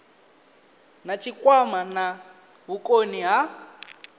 na tshikwama na vhukoni ha